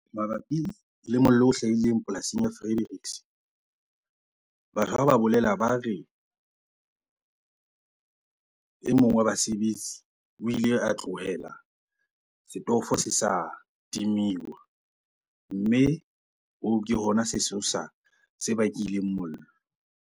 Mabapi le mollo o hlahileng polasing ya Frederick. Batho ha ba bolela ba re, e mong wa basebetsi o ile a tlohela setofo se sa timiwa. Mme hoo ke hona sesosa se bakileng mollo.